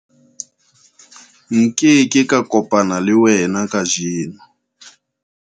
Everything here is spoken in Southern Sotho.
Nke ke ka kopana le wena kajeno.